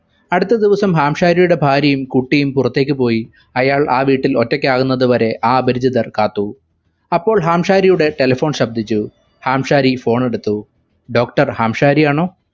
അടുത്ത ദിവസം ഹാംശാരിയുടെ ഭാര്യയും കുട്ടിയും പുറത്തേക്ക് പോയി അയാൾ വീട്ടിൽ ഒറ്റക്കാകുന്നത് വരെ ആ അപരിചിതർ കാത്തു അപ്പോൾ ഹാംശാരിയുടെ telephone ശബ്‌ദിച്ചു ഹാംശാരി phone എടുത്തു doctor ഹാംശാരി ആണൊ